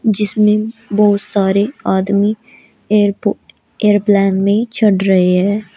जिसमें बहुत सारे आदमी एयरपोर्ट एयरप्लेन में चढ़ रहे हैं।